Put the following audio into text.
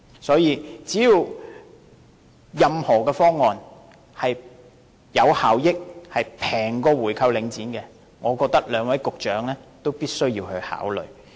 所以，任何方案只要是有效益和較購回領展便宜的，我覺得兩位局長也必須考慮。